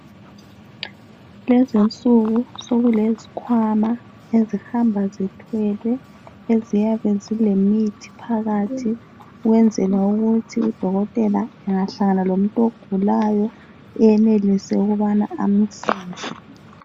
Lezinsuku sokulezikhwama ezihamba zithwele eziyabe zilemithi phakathi ukwenzela ukuthi udokotela engahlangana lomuntu ogulayo enelise ukubana amelaphe.